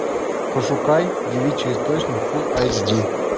пошукай девичий источник фул айч ди